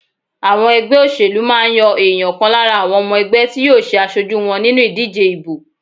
Àwọn ẹgbẹ́ òṣèlú máa ń yan èèyàn kan lára àwọn ọmọ ẹgbẹ́ tí yóò ṣe aṣojú wọn nínú ìdíje ìbò.